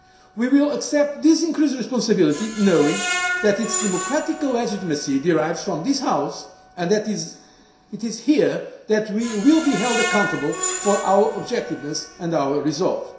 position. We will accept this increased responsibility knowing that its democratic legitimacy derives from this House and that it is here that we will be held accountable for our objectiveness and our